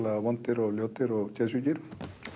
vondir og og geðsjúkir